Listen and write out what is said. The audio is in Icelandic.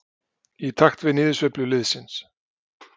Í takt við niðursveiflu liðsins.